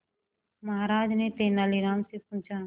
महाराज ने तेनालीराम से पूछा